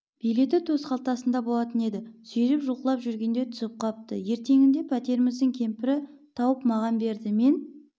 билеті төсқалтасында болатын еді сүйреп жұлқылап жүргенде түсіп қапты ертеңінде пәтеріміздің кемпірі тауып маған берді мен